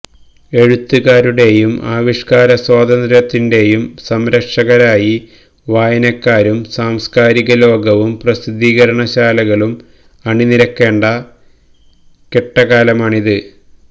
എഴുത്തുകാരുടെയും ആവിഷ്കാര സ്വാതന്ത്ര്യത്തിന്റെയും സംരക്ഷകരായി വായനക്കാരും സാംസ്കാരികലോകവും പ്രസിദ്ധീകരണശാലകളും അണിനിരക്കേണ്ട കെട്ടകാലമാണിത്